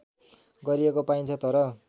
गरिएको पाइन्छ तर